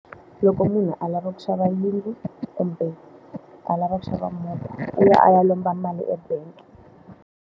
Loko munhu a lava ku xava yindlu kumbe a lava ku xava movha, u ya a ya lomba mali ebangi.